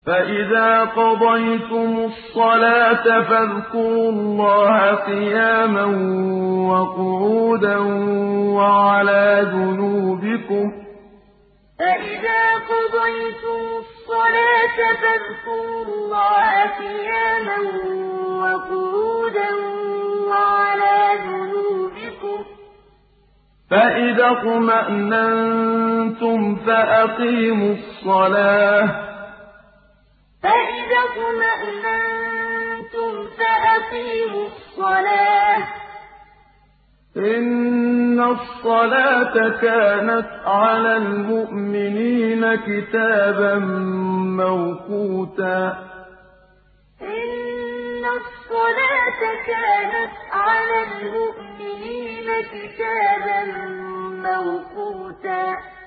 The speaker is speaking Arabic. فَإِذَا قَضَيْتُمُ الصَّلَاةَ فَاذْكُرُوا اللَّهَ قِيَامًا وَقُعُودًا وَعَلَىٰ جُنُوبِكُمْ ۚ فَإِذَا اطْمَأْنَنتُمْ فَأَقِيمُوا الصَّلَاةَ ۚ إِنَّ الصَّلَاةَ كَانَتْ عَلَى الْمُؤْمِنِينَ كِتَابًا مَّوْقُوتًا فَإِذَا قَضَيْتُمُ الصَّلَاةَ فَاذْكُرُوا اللَّهَ قِيَامًا وَقُعُودًا وَعَلَىٰ جُنُوبِكُمْ ۚ فَإِذَا اطْمَأْنَنتُمْ فَأَقِيمُوا الصَّلَاةَ ۚ إِنَّ الصَّلَاةَ كَانَتْ عَلَى الْمُؤْمِنِينَ كِتَابًا مَّوْقُوتًا